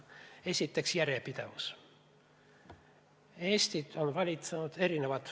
Esiteks, järjepidevus.